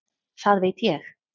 Það veit ég